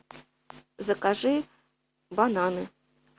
закажи бананы